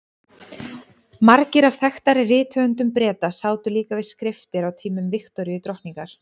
Margir af þekktari rithöfundum Breta sátu líka við skriftir á tímum Viktoríu drottningar.